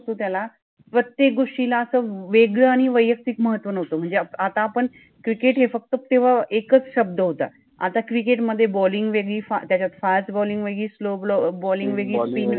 त्याला, प्रत्येक गोष्टीला अस वेगळ आणि वैयक्तिक महत्त्व नवत मनजे आता आपण क्रिकेट {cricket} हे फक्त तेव्हा एकच शब्द होता, आता क्रिकेट {cricket} मधे बॉलिंग {bolling} वेगळि, त्याच्यात फास्ट {fast} बॉलिंग {bolling} वेगळि, स्लो {slow} बॉलिंग {bolling} वेगळि, स्पिन {spin} बॉलिंग {bolling}